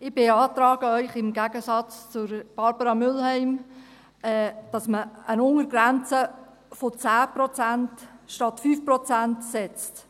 Ich beantrage Ihnen im Gegensatz zu Barbara Mühlheim, dass man eine Untergrenze von 10 Prozent statt 5 Prozent setzt.